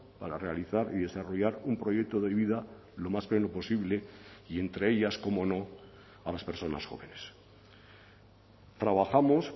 para realizar y desarrollar un proyecto de vida lo más pleno posible y entre ellas cómo no a las personas jóvenes trabajamos